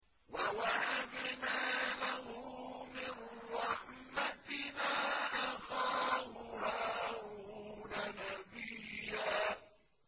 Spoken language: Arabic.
وَوَهَبْنَا لَهُ مِن رَّحْمَتِنَا أَخَاهُ هَارُونَ نَبِيًّا